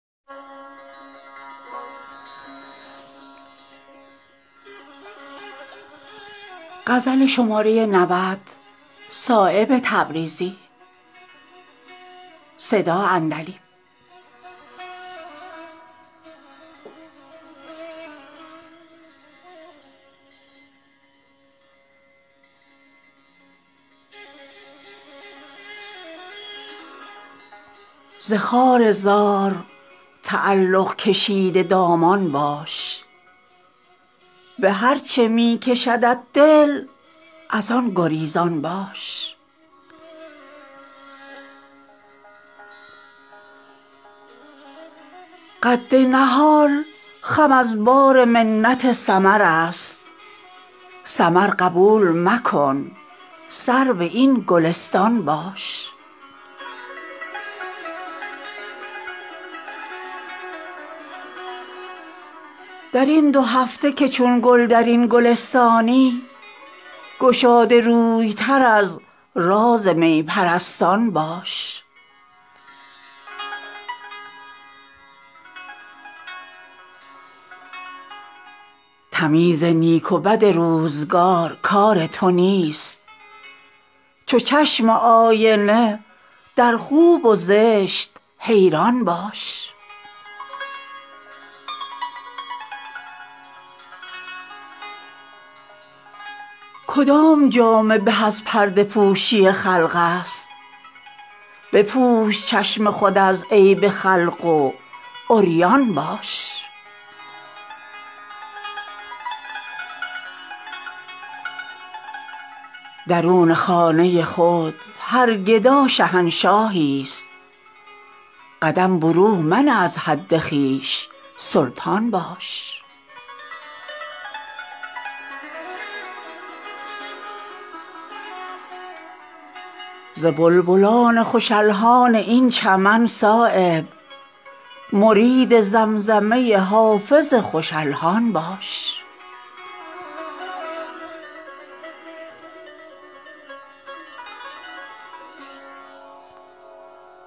ز خارزار تعلق کشیده دامان باش به هر چه می کشدت دل ازان گریزان باش قد نهال خم از بار منت ثمرست ثمر قبول مکن سرو این گلستان باش درین دو هفته که چون گل درین گلستانی گشاده روی تر از راز می پرستان باش تمیز نیک و بد روزگار کار تو نیست چو چشم آینه در خوب و زشت حیران باش ز گریه شمع به پروانه نجات رسید تو نیز در دل شب همچو شمع گریان باش ز بخت شور مکن روی تلخ چون دریا گشاده روی تر از زخم با نمکدان باش کدام جامه به از پرده پوشی خلق است بپوش چشم خود از عیب خلق و عریان باش درون خانه خود هر گدا شهنشاهی است قدم برون منه از حد خویش سلطان باش کلید رزق ترا سین جستجو دارد چو آسیا پی تحصیل رزق گردان باش خودی به وادی حیرت فکنده است ترا برون خرام ز خود خضر این بیابان باش هوای نفس ترا ساخته است مرکب دیو به زیر پای درآور هوا سلیمان باش ز بلبلان خوش الحان این چمن صایب مرید زمزمه حافظ خوش الحان باش